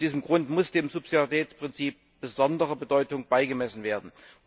Aus diesem Grund muss dem Subsidiaritätsprinzip besondere Bedeutung beigemessen werden.